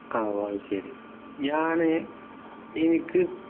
ആഹ് ഓഹ് അയ് ശേരി ഞാന് ഇനിക്ക്